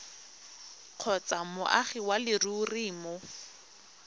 kgotsa moagi wa leruri mo